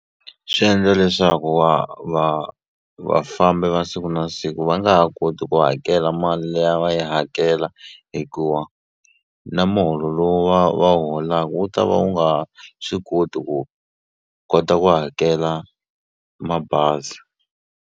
Swi endla leswaku wa va vafambi va siku na siku va nga ha koti ku hakela mali leyi a va yi hakela hikuva na muholo lowu va va wu holaku wu ta va wu nga ha swi koti ku kota ku hakela mabazi.